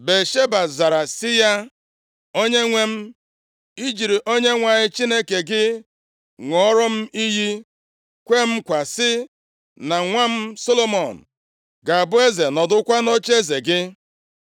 Batsheba zara sị ya, “Onyenwe m, i jiri Onyenwe anyị Chineke gị ṅụọrọ m iyi, kwee m nkwa sị na nwa m Solomọn ga-abụ eze, nọdụkwa nʼocheeze gị.